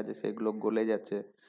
আছে সেগুলো গলে যাচ্ছে,